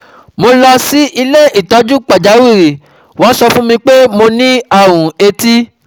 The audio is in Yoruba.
Mo lọ sí ilé ìtọ́jú pàjáwìrì, wọ́n sọ fún mi pé mo ní àrùn etí